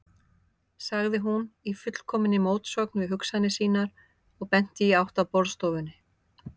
sagði hún, í fullkominni mótsögn við hugsanir sínar og benti í átt að borðstofunni.